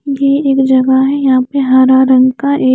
ये एक जगह है यहाँ पे हरा रंग का एक--